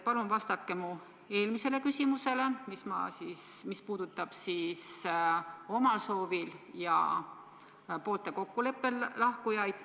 Palun vastake mu eelmisele küsimusele, mis puudutas omal soovil ja poolte kokkuleppel lahkujaid.